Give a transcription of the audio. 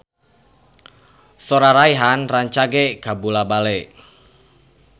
Sora Rayhan rancage kabula-bale